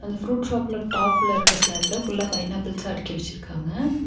அந்த fruit shop ல top ல இருக்க ஸ்லாப்ல ஃபுல் லா பைனாப்பிள்சா அடுக்கி வெச்சிருக்காங்க.